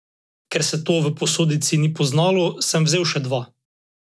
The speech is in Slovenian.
Ker se to v posodici ni poznalo, sem vzel še dva.